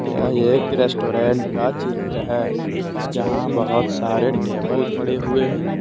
यह एक रेस्टोरेंट का चित्र है जहां बहुत सारे टेबल पड़े हुए हैं।